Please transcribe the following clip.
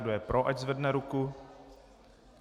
Kdo je pro, ať zvedne ruku.